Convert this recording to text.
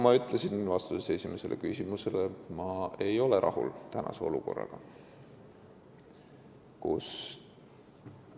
Ma ütlesin ka vastuses esimesele küsimusele, et ma ei ole praeguse olukorraga rahul.